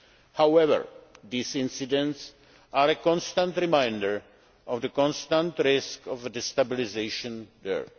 However, these incidents are a constant reminder of the constant risk of destabilisation there.